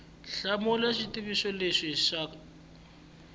hlamula xivutiso xin we xa